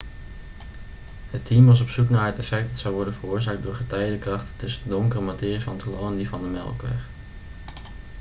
het team was op zoek naar het effect dat zou worden veroorzaakt door de getijdenkrachten tussen de donkere materie van het heelal en die van de melkweg